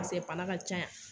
Paseke bana ka ca yan